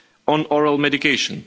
on oral medication.